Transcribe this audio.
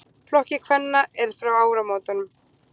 Flokki kvenna er fá áramótum.